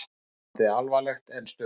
Ástandið alvarlegt en stöðugt